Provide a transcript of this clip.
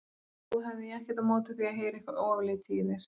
Nú hefði ég ekkert á móti því að heyra eitthvað ofurlítið af þér.